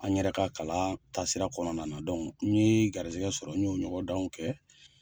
An yɛrɛ ka kalan taasira kɔnɔna na n ye garizɛgɛ sɔrɔ n ye o ɲɔgɔndanw kɛ.